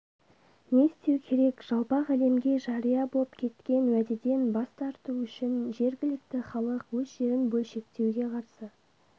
не істеу керек жалпақ әлемге жария боп кеткен уәдеден бас тарту үшін жергілікті халық өз жерін бөлшектеуге қарсы